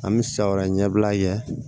An bɛ siyɔ wɛrɛ ɲɛbila ye